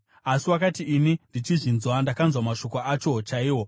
“Asi wakati ini ndichizvinzwa, ndakanzwa mashoko acho chaiwo,